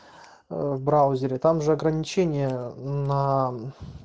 аа в браузере там же ограничение на